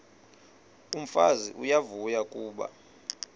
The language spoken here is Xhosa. umfazi uyavuya kuba